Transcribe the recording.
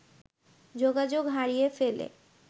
যোগাযোগ হারিয়ে ফেলে